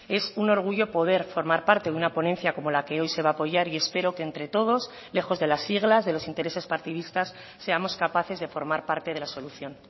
es un orgullo poder formar parte de una ponencia como la que hoy se va a apoyar y espero que entre todos lejos de las siglas de los intereses partidistas seamos capaces de formar parte de la solución